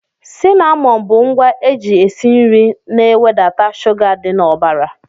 Cinamọn bụ ngwa eji esi nri na e wedata shuga dị n'ọbara.